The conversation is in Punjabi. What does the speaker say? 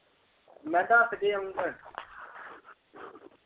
ਮੈਂ ਦੱਸ ਕੇ ਆਊਗਾ।